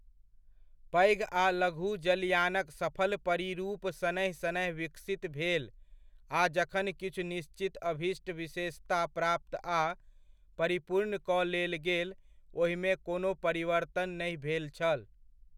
पैघ आ लघु जलयानक सफल परिरूप शनैः शनैः विकसित भेल आ जखन किछु निश्चित अभीष्ट विशेषता प्राप्त आ परिपूर्ण कऽ लेल गेल ओहिमे कोनो परिवर्तन नहि भेल छल।